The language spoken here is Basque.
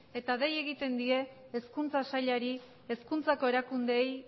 eta dei egiten dei hezkuntza sailari hezkuntzako erakundeei